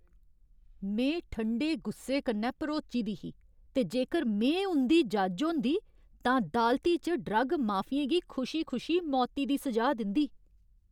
में ठंडे गुस्से कन्नै भरोची दी ही ते जेकर में उं'दी जज्ज होंदी तां दालती च ड्रग माफियें गी खुशी खुशी मौती दी स'जा दिंदी।